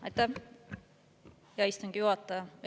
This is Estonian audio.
Aitäh, hea istungi juhataja!